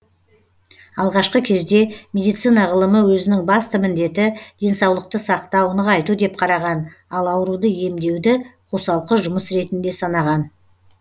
алғашқы кезде медицина ғылымы өзінің басты міндеті денсаулықты сақтау нығайту деп қараған ал ауруды емдеуді қосалқы жұмыс ретінде санаған